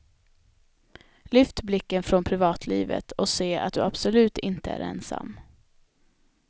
Lyft blicken från privatlivet och se att du absolut inte är ensam.